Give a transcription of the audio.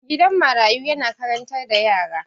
Gidan marayu na karantar da yara.